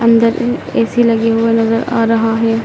अंदर ए_सी लगे हुए नजर आ रहा है।